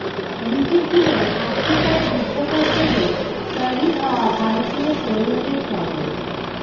লিখেছিলেন আফ্রিকায় যুদ্ধ করতে গিয়ে শহিদ হওয়া ভারতীয় সৈন্যদের স্মরণে